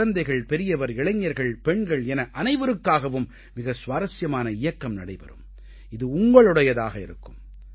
குழந்தைகள் பெரியவர் இளைஞர்கள் பெண்கள் என அனைவருக்காகவும் மிக சுவாரசியமான இயக்கம் நடைபெறும் இது உங்களுடையதாக இருக்கும்